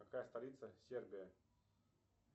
какая столица сербия